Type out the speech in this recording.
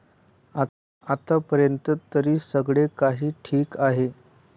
आतापर्यंत तरी सगळे काही ठिक आहे.